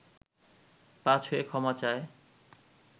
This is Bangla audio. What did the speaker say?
পা ছুঁয়ে ক্ষমা চায়